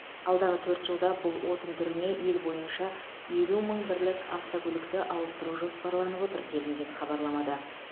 алдағы төрт жылда бұл отын түріне ел бойынша елу мың бірлік автокөлікті ауыстыру жоспарланып отыр делінген хабарламада